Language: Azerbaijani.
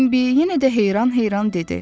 Bimbi yenə də heyran-heyran dedi.